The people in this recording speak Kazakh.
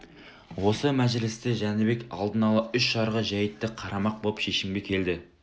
осы мәжілісте жәнібек алдын ала үш жарғы жәйтті қарамақ боп шешімге келді